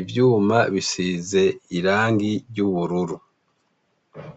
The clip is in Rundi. Ivyuma bisize irangi ry' ubururu.